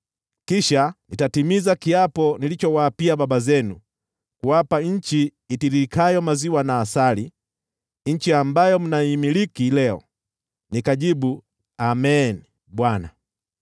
Kisha nitatimiza kiapo nilichowaapia baba zenu, kuwapa nchi itiririkayo maziwa na asali,’ nchi ambayo mnaimiliki leo.” Nikajibu, “Amen, Bwana .”